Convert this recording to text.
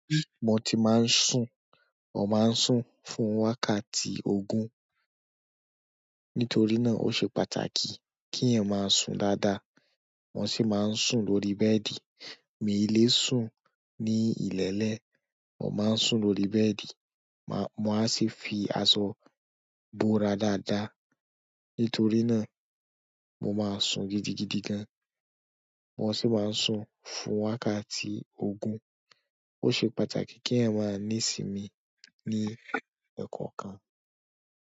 Bí mo ti máa ń sùn, mo máa ń sùn fún wákàtí ogún. Nítorí náà, ó ṣe pàtàkì kí ẹ máa sùn dáadáa. Mo sì máa ń sùn lórí bẹ́ẹ̀dì. Mi lè sùn ní ilẹ̀lẹ́, mo máa ń sùn lórí bẹ́ẹ̀dì. Mo á sì fi aṣọ bo ara dáadáa. Nítorí náà, mo máa sùn gidigidi gan. Mo sì máa ń sùn fún wákàtí ogún. Ó ṣe pàtàkì kí ènìyàn máa níì sìn mí ní ẹ̀kọ̀kan.